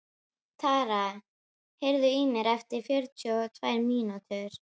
Tara, heyrðu í mér eftir fjörutíu og tvær mínútur.